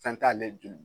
Fɛn t'ale joli